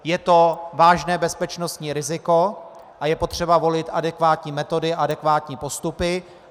Je to vážné bezpečnostní riziko a je třeba volit adekvátní metody a adekvátní postupy.